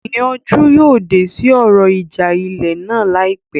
Ìyanjú yóò dé sí ọ̀rọ̀ ìjà ilẹ̀ náà láìpẹ́